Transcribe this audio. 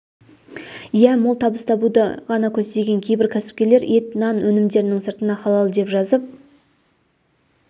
иә мол табыс табуды ғана көздеген кейбір кәсіпкерлер ет нан өнімдерінің сыртына халал деп жазып